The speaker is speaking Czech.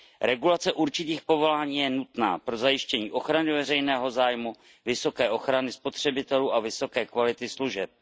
Regulace určitých povolání je nutná pro zajištění ochrany veřejného zajmu, vysoké ochrany spotřebitelů a vysoké kvality služeb.